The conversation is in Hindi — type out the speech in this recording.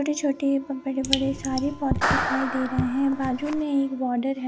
छोटे छोटे व बड़े बड़े सारे पौधे दिखाई दे रहे है गार्डन में एक बोर्डेर है।